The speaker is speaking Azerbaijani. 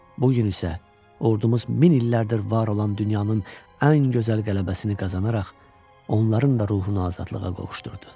Bu gün isə ordumuz min illərdir var olan dünyanın ən gözəl qələbəsini qazanaraq, onların da ruhunu azadlığa qovuşdurdu.